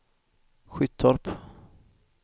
Skyttorp